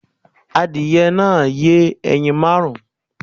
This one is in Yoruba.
Adìyẹ náà yẹ ẹyin márùn-ún